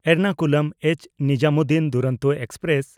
Ernakulam H. Nizamuddin Duronto express